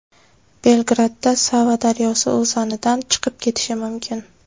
Belgradda Sava daryosi o‘zanidan chiqib ketishi mumkin.